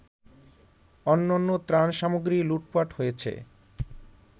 অন্যান্য ত্রাণসামগ্রী লুটপাট হয়েছে